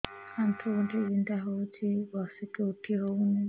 ଆଣ୍ଠୁ ଗଣ୍ଠି ବିନ୍ଧା ହଉଚି ବସିକି ଉଠି ହଉନି